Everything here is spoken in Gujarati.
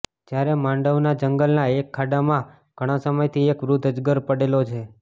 જયારે માંડવના જંગલના એક ખાડામાં ઘણા સમયથી એક વૃદ્ધ અજગર પડેલો છે